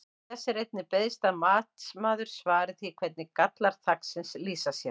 Þess er einnig beiðst að matsmaður svari því hvernig gallar þaksins lýsa sér?